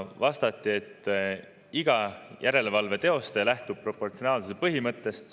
Vastati, et iga järelevalve teostaja lähtub proportsionaalsuse põhimõttest.